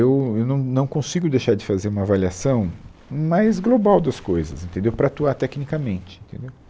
Eu eu não não consigo deixar de fazer uma avaliação mais global das coisas, entendeu, para atuar tecnicamente, entendeu